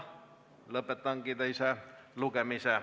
Lõpetan teise lugemise.